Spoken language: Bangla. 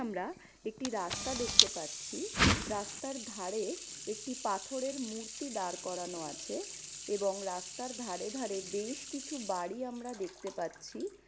আমার একটি রাস্তা দেখতে পাচ্ছি। রাস্তার ধারে একটি পাথর এর মূর্তি দাঁড় করানো আছে এবং রাস্তার ধারে ধারে বেশ কিছু বাড়ি আমরা দেখতে পাচ্ছি।